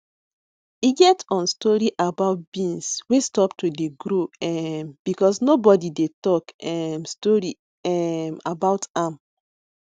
e get on story about beans wey stop to dey grow um because nobody dey talk um story um about am